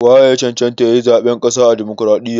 Wa ye ya cancanta ya yi zaɓen ƙasa a Damokaraɗiyya?